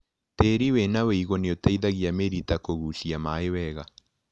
Tĩri wĩna wĩigũ nĩũteithagia mĩrita kũgucia maĩ wega.